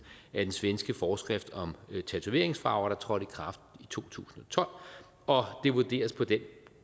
af den svenske forskrift om tatoveringsfarver der trådte i kraft i to tusind og tolv og det vurderes på den